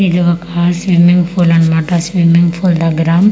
ఇది ఒక swimming pool అన్నమాట స్విమ్యింగ్ పూల్ దెగ్గర అ.